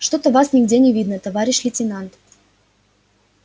что то вас нигде не видно товарищ лейтенант